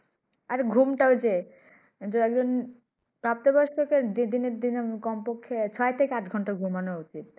আর ঘুম টা ঐ যে প্রাপ্ত বয়স্ক দে দিনন দিনে কম্পক্ষে ছয় থেকে আট ঘন্টা ঘুমানো উচিৎ ।